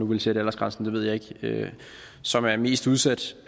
nu vil sætte aldersgrænsen det ved jeg ikke som er mest udsat